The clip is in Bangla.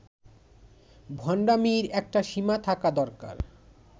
ভন্ডামীর একটা সীমা থাকা দরকার